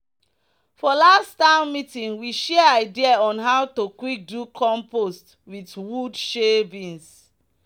"for last town meeting we share idea on how to quick do compost with wood shavings."